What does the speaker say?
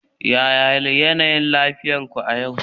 yaya yanayin lafiyar ku a yau